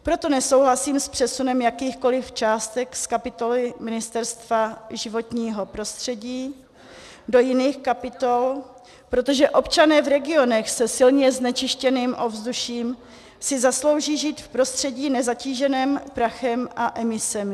Proto nesouhlasím s přesunem jakýchkoliv částek z kapitoly Ministerstva životního prostředí do jiných kapitol, protože občané v regionech se silně znečištěným ovzduším si zaslouží žít v prostředí nezatíženém prachem a emisemi.